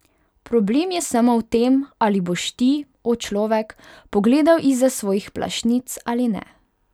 Problem je samo v tem, ali boš ti, o človek, pogledal izza svojih plašnic ali ne.